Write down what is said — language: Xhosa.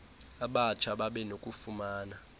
abatsha babe nokufumana